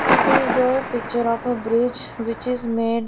it is the picture of a bridge which is made --